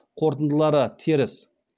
қорытындылары теріс